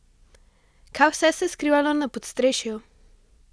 Kaj vse se je skrivalo na podstrešju?